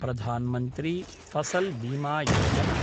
Pradhan Mantri Fasal Bima Yojana